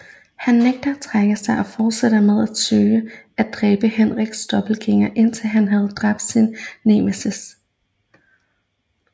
Han nægter at trække sig og fortsætter med at søge at dræbe Henriks dobbeltgængere indtil han havde dræbt sin nemesis